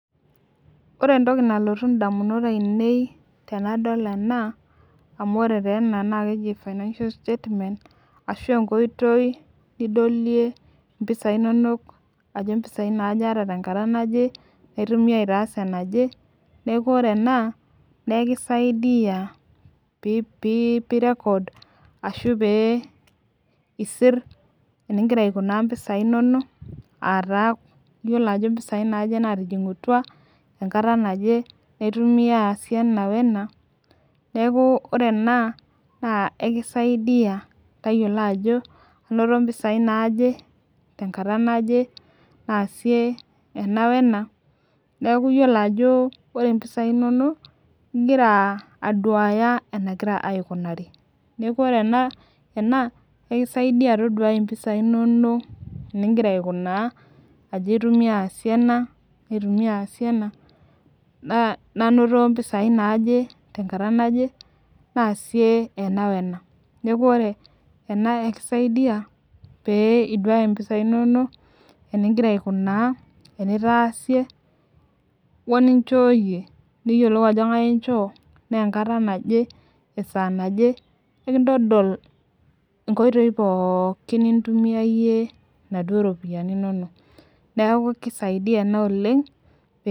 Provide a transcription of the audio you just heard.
ore entoki nalotu indamunot ainei tenadol ena ,amu ore taa ena na keji financial statement, ashu enkoitoi nidolie mpisai inono aajo mpisai aja ata tenkata naje, aitumia ass ena je niaku ore ena na ikisaidia apik record, ashu pe isir eningira aikuna mpisai inono ata iyiolo ajo mpisai naje natijingutua, enkata naje naitumia asie ena we na niaku ore ena na ekisaidia tayiolo ajo anoto mpisai naje tenkata naje, nasie ena wena niaku iyiolo ajo ore mpisai inono na iyiolo enegira aikunari, niaku ore ena ekisaidia tayiolo mpisai inono eningira aikuna ajo aitumia asie ena nasie ena, nanoto mpisai naje tenkata naje nasie ena wena, niaku ore ena ekisaiidia, pee iduaya mpisai inono, eningira aikuna enitasie, wenishoyie niyiolou ajo kengae inchoo tenkata naje, esa naje ekintodol inkoitoi pooki nitumiyayie inaduo ropiani inono, niaku kisaidia na oleng pee..